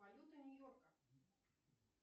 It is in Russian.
валюта нью йорка